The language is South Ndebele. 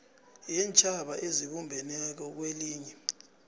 yeentjhaba ezibumbeneko kwelinye